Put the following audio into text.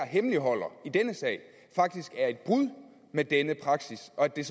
hemmeligholder dem faktisk er et brud med denne praksis og at det